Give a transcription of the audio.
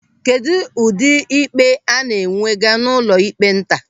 Kedụ ụdị ikpe a na-ewega n'ụlọịkpe nta?